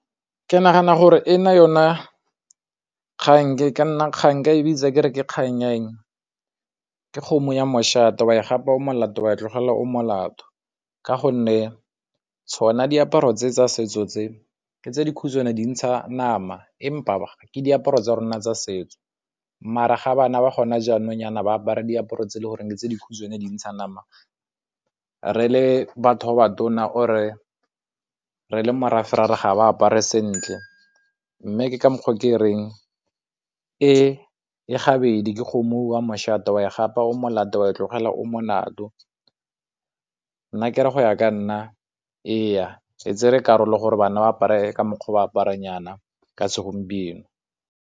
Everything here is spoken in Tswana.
Ke nagana gore e na yona kgang ke ka nna kgang, nka e bitsa ke re ke kgang ya eng, ke kgomo ya moshate, wa e gapa o molato wa e tlogelela o molato. Ka gonne tsona diaparo tse tsa setso tse ke tse dikhutshwane dintsha nama empa ke diaparo tsa rona tsa setso mara ga bana ba gona jaanong yana ba apara diaparo tse e le goreng ke tse dikhutshwane dintsha nama, re le batho ba ba tona or-e re le morafe ra re ga ba apara sentle. Mme ke ka moo ke reng e e gabedi ke kgomo ya moshate, wa e gapa o molato wa e tlogela o molato. Nna ke re go ya ka nna ee, ke tsere karolo gore bana ba apare ka mokgwa o ba aparang yana ka segompieno.